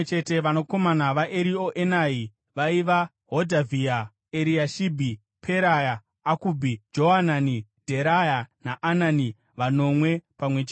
Vanakomana vaErioenai vaiva: Hodhavhia, Eriashibhi, Peraya, Akubhi, Johanani, Dheraya naAnani, vanomwe pamwe chete.